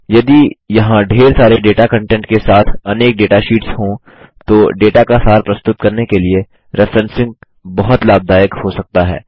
यदि यहाँ ढेर सारे डेटा कंटेंट के साथ अनेक डेटा शीट्स हो तो डेटा का सार प्रस्तुत करने के लिए रेफ्रेंसिंग बहुत लाभदायक हो सकता है